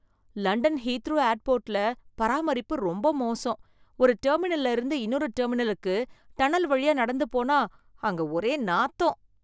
London Heathrow ஏர்போர்ட்ல பராமரிப்பு ரொம்ப மோசம். ஒரு டெர்மினல்ல இருந்து இன்னொரு டெர்மினலுக்கு டனல் வழியா நடந்து போனா அங்க ஒரே நாத்தம்